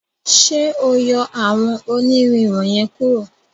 ṣe o yọ awọn onirin wọnyẹn kuro.